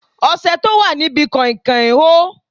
Ọṣẹ tó wà níbi kain kain hó.